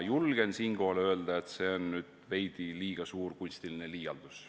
Julgen siinkohal öelda, et see on veidi liiga suur kunstiline liialdus.